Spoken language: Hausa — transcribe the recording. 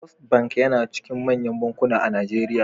Fisrt bank yAna cikin manyan bankuna a nigeria